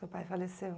Seu pai faleceu.